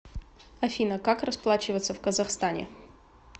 афина как расплачиваться в казахстане